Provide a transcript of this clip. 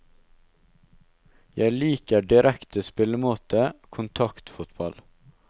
Jeg liker direkte spillemåte, kontaktfotball.